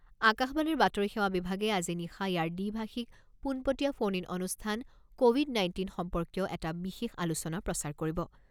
আকাশবাণীৰ বাতৰি সেৱা বিভাগে আজি নিশা ইয়াৰ দ্বি ভাষিক পোনপটীয়া ফোন ইন অনুষ্ঠান ক’ভিড নাইণ্টিন সম্পৰ্কীয় এটা বিশেষ আলোচনা প্ৰচাৰ কৰিব।